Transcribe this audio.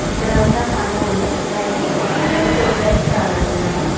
ఇక్కడ ఒక స్తంభం ఉంది దానికి రెండు ట్యూబ్ లైట్స్ కనబడుతున్నాయి.